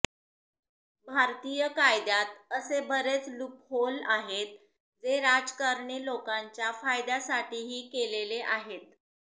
भारतिय कायद्यात असे बरेच लुपहोल आहेत जे राज्कारणी लोकाच्या फायद्या साठी केलेले आहेत